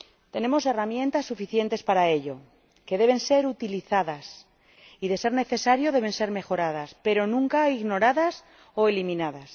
Tenemos herramientas suficientes para ello, que deben ser utilizadas y, de ser necesario, deben ser mejoradas, pero nunca ignoradas o eliminadas.